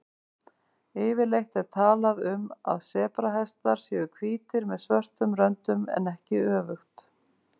Yfirleitt er talað um að sebrahestar séu hvítir með svörtum röndum en ekki öfugt.